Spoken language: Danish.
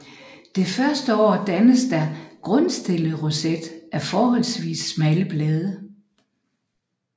Det første år dannes der en grundstillet roset af forholdsvis smalle blade